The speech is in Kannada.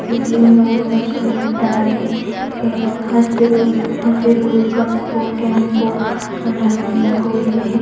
ಇಲ್ಲಿ ಮೂರು ಬಸ್ ಗಳಿದ್ದಾವೆ ಇವ ಹಸಿರು ಹಸಿರು ಕಪ್ಪು ಕೆಂಪು ಬಣ್ಣಗಳಿಂದ ಕೂಡಿದೆ.